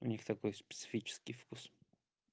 у них такой специфический вкус